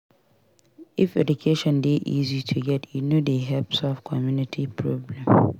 If education dey easy to get e go dey help solve community problem.